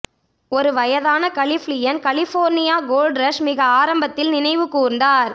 ஒரு வயதான கலிஃபிளியன் கலிபோர்னியா கோல்ட் ரஷ் மிக ஆரம்பத்தில் நினைவு கூர்ந்தார்